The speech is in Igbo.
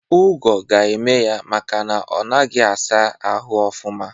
Ụgwo ga-eme ya makana onaghi asa ahụ ọfuma.